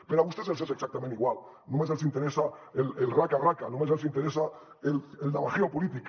però a vostès els és exactament igual només els interessa el raca raca només els interessa el navajeo polític